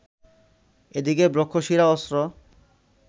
এদিকে ব্রহ্মশিরা অস্ত্র